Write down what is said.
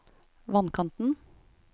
vannkanten